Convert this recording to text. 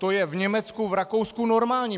To je v Německu, v Rakousku normální.